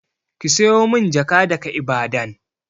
Ki siyo min jaka daga Ibadan!